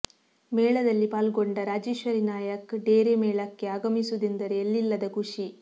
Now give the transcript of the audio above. ಮೇಳದಲ್ಲಿ ಪಾಲ್ಗೊಂಡ ರಾಜೇಶ್ವರಿ ನಾಯ್ಕ ಡೇರೆ ಮೇಳಕ್ಕೆ ಆಗಮಿಸುವುದೆಂದರೆ ಎಲ್ಲಿಲ್ಲದ ಖುಷಿ